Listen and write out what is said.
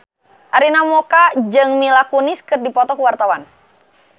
Arina Mocca jeung Mila Kunis keur dipoto ku wartawan